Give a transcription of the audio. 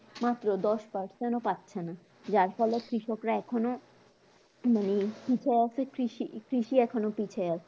মাত্র দশ percent ও পাচ্ছে না যার ফলে কৃষকরা এখন ও মানে পিছায় আছে কৃষি কৃষি এখন পিছায় আছে